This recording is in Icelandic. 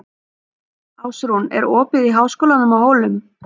Ásrún, er opið í Háskólanum á Hólum?